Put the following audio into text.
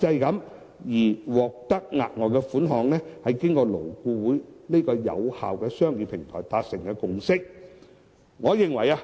額外款項這項安排，是勞資雙方經過勞顧會有效的商議平台達成的共識。